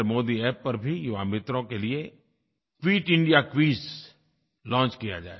NarendraModiApp पर भी युवा मित्रों के लिये क्विट इंडिया क्विज लॉन्च किया जाएगा